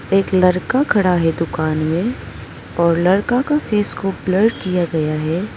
एक लड़का खड़ा है दुकान में और लड़का के फेस को ब्लर किया गया है।